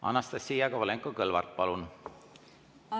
Anastassia Kovalenko-Kõlvart, palun!